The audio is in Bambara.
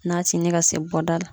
Na tinin ka se bɔ da la.